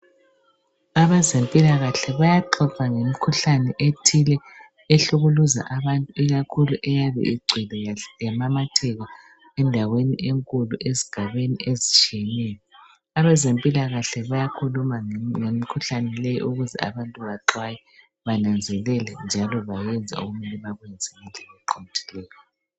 Abezempilakahle bayaxoxa ngemikhuhlane ethile ehlukuluza abantu ,ikakhulu eyabe ingcwele yamamatheka endaweni enkulu ezigabeni ezitshiyeneyo. Abezempilakahle bayakhuluma ngemikhuhlane le ukuze abantu baxhwaye, bananzelele njalo bayenze okumele bakwenze ngendlela eqondileyo.